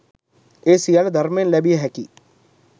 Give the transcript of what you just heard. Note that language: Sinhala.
ඒ සියල්ල ධර්මයෙන් ලැබිය හැකි